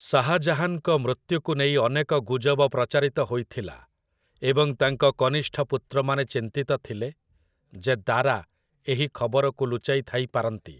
ଶାହଜାହାନଙ୍କ ମୃତ୍ୟୁକୁ ନେଇ ଅନେକ ଗୁଜବ ପ୍ରଚାରିତ ହୋଇଥିଲା ଏବଂ ତାଙ୍କ କନିଷ୍ଠ ପୁତ୍ରମାନେ ଚିନ୍ତିତ ଥିଲେ ଯେ ଦାରା ଏହି ଖବରକୁ ଲୁଚାଇ ଥାଇପାରନ୍ତି ।